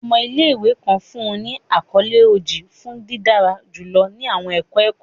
Ọmọ ile-iwe kan fun ni akọle Oji fun didara julọ ni awọn ẹkọ ẹkọ.